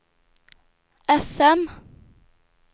fm